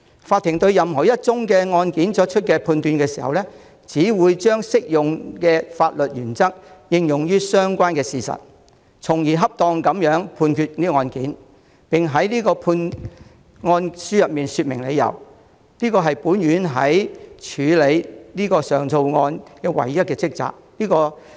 法庭對任何一宗案件作出判決時，只會將適用的法律原則應用於相關事實，從而恰當地判決案件，並在判案書說明理由，這是本院在處理此等上訴案件時唯一的職責。